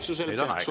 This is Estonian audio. Nüüd on aeg!